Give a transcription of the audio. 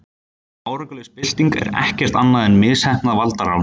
Árangurslaus bylting er ekkert annað en misheppnað valdarán.